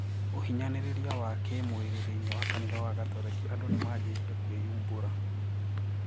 Uhinyaniriria wa kii mwiri thiinie wa kanitha wa gatoreki andũ nimaanjitie kũĩũmbura